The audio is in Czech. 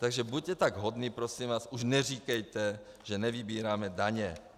Takže buďte tak hodní, prosím vás, už neříkejte, že nevybíráme daně.